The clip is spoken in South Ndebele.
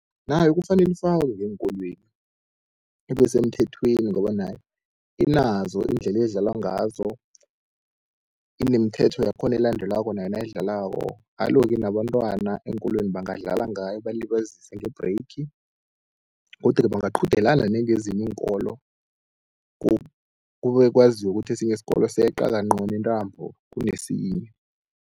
Nayo kufanele ifakwe ngeenkolweni ibe semthethweni, ngoba nayo inazo iindlela edlalwa ngazo, inemithetho yakhona elandelwako nayo nayidlalwako. Alo-ke nabantwana eenkolweni bangadlala ngayo balibazise nge-break, godu-ke bangaqhudelana nengezinye iinkolo kube kwaziwe kuthi isikolo seqa kancono intambo kunesinye.